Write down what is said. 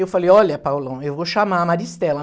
Eu falei, olha, Paulão, eu vou chamar a Maristela.